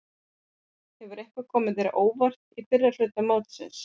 Hefur eitthvað komið þér á óvart í fyrri hluta móts?